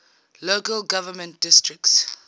local government districts